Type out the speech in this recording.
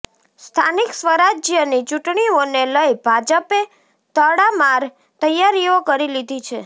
સ્થાનિક સ્વરાજ્યની ચૂંટણીઓને લઈ ભાજપે તડામાર તૈયારીઓ કરી લીધી છે